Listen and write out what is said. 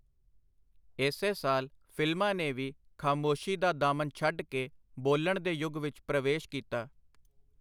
ਏਸੇ ਸਾਲ ਫਿਲਮਾਂ ਨੇ ਵੀ ਖਾਮੋਸ਼ੀ ਦਾ ਦਾਮਨ ਛਡ ਕੇ ਬੋਲਣ ਦੇ ਯੁੱਗ ਵਿਚ ਪ੍ਰਵੇਸ਼ ਕੀਤਾ.